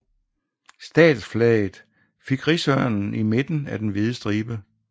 Statsflaget fik rigsørnen i midten af den hvide stribe